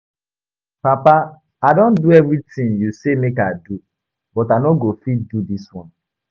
Papa I don do everything you say make I do but I no go fit do dis one